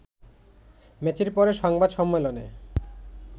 ম্যাচের পরে সংবাদ সম্মেলনে